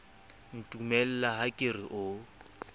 ntumella ha ke re o